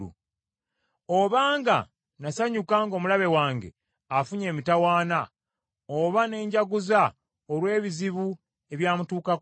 “Obanga nasanyuka ng’omulabe wange afunye emitawaana oba ne njaguza olw’ebizibu ebyamutuukako,